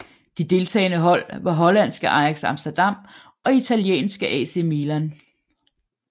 De deltagende hold var hollandske Ajax Amsterdam og italienske AC Milan